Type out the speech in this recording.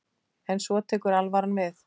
En svo tekur alvaran við.